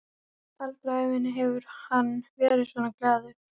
Aldrei á ævinni hefur hann verið svona glaður.